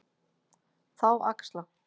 Þá axla